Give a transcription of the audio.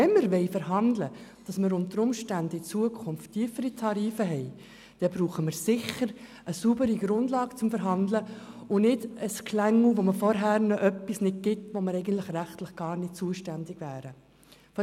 Wenn wir verhandeln wollen, dass wir unter Umständen zukünftig tiefere Tarife haben, brauchen wir sicher eine saubere Grundlage zum Verhandeln und nicht ein «Geschlängel», bei dem man vorher noch etwas nicht gibt, wofür wir eigentlich rechtlich gar nicht zuständig wären.